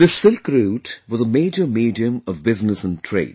This Silk Route was a major medium of business and trade